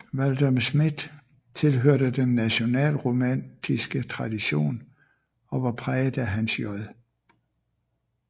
Valdemar Schmidt tilhørte den nationalromantiske tradition og var præget af Hans J